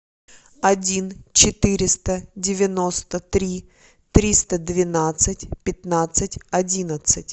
один четыреста девяносто три триста двенадцать пятнадцать одиннадцать